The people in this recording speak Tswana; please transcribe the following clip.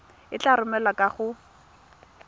e tla romelwa kwa go